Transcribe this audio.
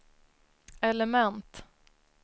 element